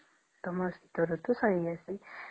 ତମର ଶୀତ ଋତୁ ସାରି ଆସେ